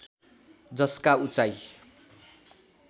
जसका उचाई